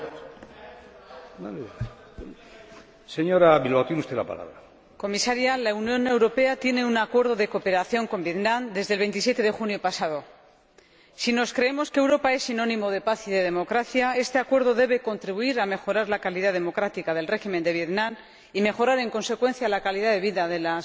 Señor Presidente, señora Comisaria, la Unión Europea tiene un Acuerdo de cooperación con Vietnam desde el 27 de junio pasado. Si creemos que Europa es sinónimo de paz y de democracia, este Acuerdo debe contribuir a mejorar la calidad democrática del régimen de Vietnam y a mejorar, en consecuencia, la calidad de vida de los